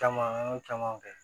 Caman an y'o camanw kɛ